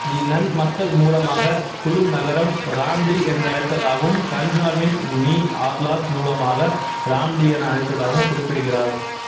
திநன் மக்கள் மூலமாக குலு நகரம் ராம்டீ என்ற அழைத்ததாகவும் கன்சாவின் மீஆர்லாக் மூலமாக ராம்டி என அழைத்ததாகவும் குறிப்பிடுகிறார்